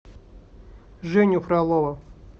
женю фролова